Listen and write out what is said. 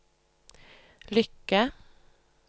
lykke